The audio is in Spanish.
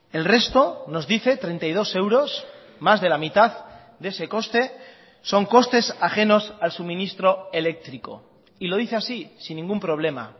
el resto nos dice treinta y dos euros más de la mitad de ese coste son costes ajenos al suministro eléctrico y lo dice así sin ningún problema